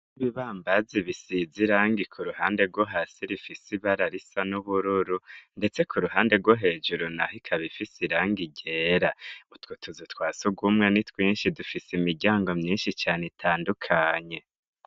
Nibibambazi bisiza irangi ku ruhande rwo hasi rifise ibara risa n'ubururu, ndetse ku ruhande rwo hejuru na ho ikabifise iranga igera utwutuzu twase ugumwa ni twinshi dufise imiryango myinshi cane itandukanye.